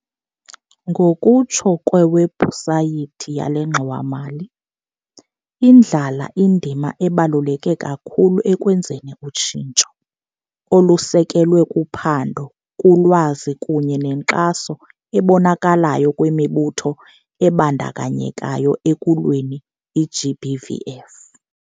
Ngokutsho kwewebhusayithi yale ngxowa-mali, indlala indima ebaluleke kakhulu ekwenzeni utshintsho, olusekelwe kuphando, kulwazi kunye nenkxaso ebonakalayo kwimibutho ebandakanyekayo ekulweni i-GBVF.